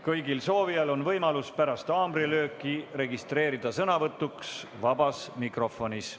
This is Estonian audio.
Kõigil soovijail on võimalus pärast haamrilööki registreeruda sõnavõtuks vabas mikrofonis.